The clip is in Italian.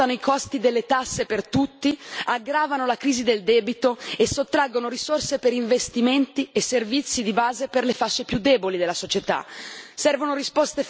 Evasione ed elusione aumentano i costi delle tasse per tutti, aggravano la crisi del debito e sottraggono risorse per investimenti e servizi di base per le fasce più deboli della società.